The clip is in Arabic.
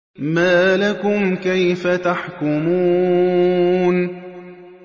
مَا لَكُمْ كَيْفَ تَحْكُمُونَ